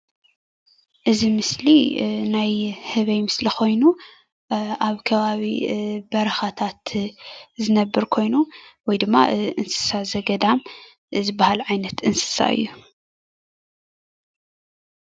እዚ ምሰሊ ናይ ህበይ ምስሊ ኮይኑ ኣብ ከባቢ በረካታት ዝነብር ኮይኑ ውይ ድማ እንስሳ ዘገዳም ዝበሃል ዓይነት እንስሳ እዩ።